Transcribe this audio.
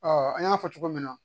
an y'a fɔ cogo min na